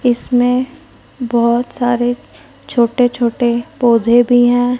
इसमें बहोत सारे छोटे छोटे पौधे भी हैं।